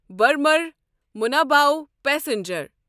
Burma منابعو passenger